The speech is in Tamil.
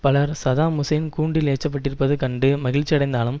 பலர் சதாம் ஹூசைன் கூண்டில் ஏற்றப்பட்டிருப்பது கண்டு மகிழ்ச்சியடைந்தாலும்